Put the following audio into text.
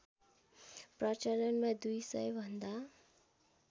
प्रचलनमा दुई सयभन्दा